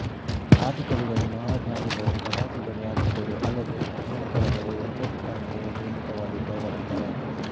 ಆದಿಕವಿಗಳು ಮಹಾಜ್ಞಾನಿಗಳೂ ಪ್ರವಾದಿಗಳೂ ಆಗಿದ್ದರು ಅಲ್ಲದೆ ಕುಶಲಕಲೆಗಳೂ ಯಂತ್ರೋಪಕರಣಗಳೂ ನಿರ್ಮಿತವಾದದ್ದು ಅವರಿಂದಲೇ